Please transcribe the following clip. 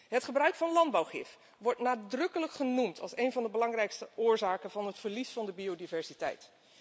Het gebruik van landbouwgif wordt nadrukkelijk genoemd als een van de belangrijkste oorzaken van het verlies aan biodiversiteit.